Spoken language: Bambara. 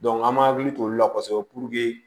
an m'an hakili t'olu la kosɛbɛ puruke